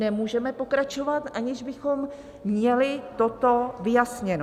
Nemůžeme pokračovat, aniž bychom měli toto vyjasněno.